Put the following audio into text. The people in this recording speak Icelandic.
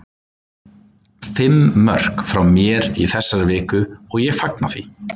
Fimm mörk frá mér í þessari viku og ég fagna því.